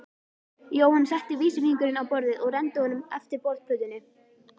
Jóhann setti vísifingurinn á borðið og renndi honum eftir borðplötunni.